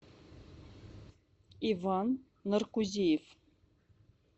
иван наркузеев